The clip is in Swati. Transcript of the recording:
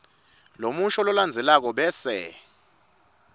lomusho lolandzelako bese